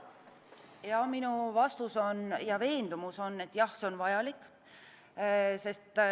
Minu vastus ja veendumus on, et jah, see on vajalik.